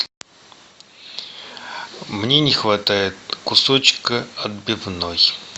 мне не хватает кусочка отбивной